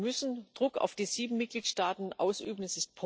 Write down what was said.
Wir müssen Druck auf die sieben Mitgliedstaaten ausüben.